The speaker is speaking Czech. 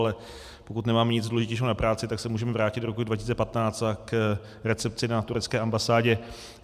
Ale pokud nemáme nic důležitějšího na práci, tak se můžeme vrátit do roku 2015 a k recepci na turecké ambasádě.